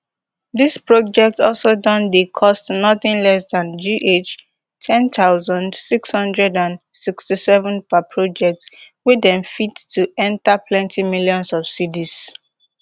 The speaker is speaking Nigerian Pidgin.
dis projects also don dey cost nothing less than gh ten thousand six hundred and sixty-seven per project wey dem fit to enta plenti millions of cedis